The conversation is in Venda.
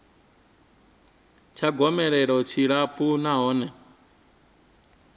tsha gomelelo tshi tshilapfu nahone